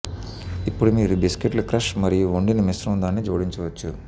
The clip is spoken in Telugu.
ఇప్పుడు మీరు బిస్కెట్లు క్రష్ మరియు వండిన మిశ్రమం దానిని జోడించవచ్చు